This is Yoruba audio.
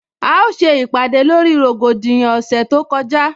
A ó se ìpàdè lórí rògbòdìyàn ọ̀sẹ̀ tó kọjá